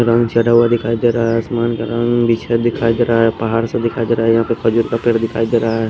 रंग चढ़ा हुआ दिखाई दे रहा है आसमान का रंग दिखाई दे रहा है पहाड़-सा दिखाई दे रहा है यहाँ पे खजूर का पेड़ दिखाई दे रहा है।